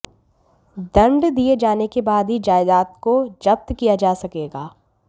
दंड दिए जाने के बाद ही जायदाद को जब्त किया जा सकेगा